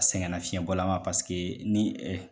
Sɛgɛnna fiɲɛbɔla ma ni